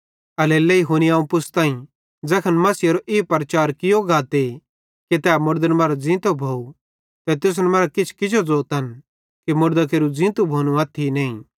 एल्हेरेलेइ हुनी अवं पुछ़ताई ज़ैखन मसीहेरो ई प्रचार कियो गाते कि तै मुड़दन मरां ज़ींतो भोव ते तुसन मरां किछ किजो ज़ोतन कि मुड़दां केरू ज़ींतू भोनू अथ्थी नईं